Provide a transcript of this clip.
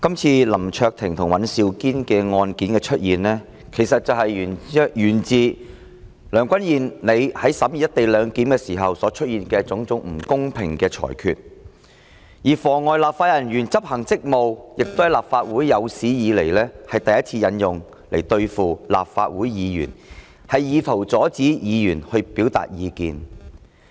今次林卓廷議員及尹兆堅議員的案件，源自梁君彥主席在審議"一地兩檢"時所出現的種種不公平裁決，立法會亦是有史以來第一次以"妨礙正在執行職責的立法會人員"罪來對付立法會議員，以圖阻止議員表達意見。